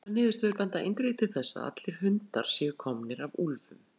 Þessar niðurstöður benda eindregið til þess að allir hundar séu komnir af úlfum.